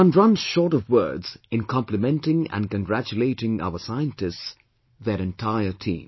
One runs short of words in complimenting and congratulating our scientists, their entire team